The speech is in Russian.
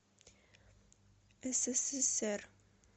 ссср